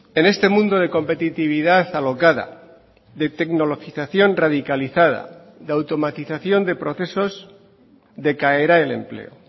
en este mundo de competitividad alocada de tecnologización radicalizada de automatización de procesos decaerá el empleo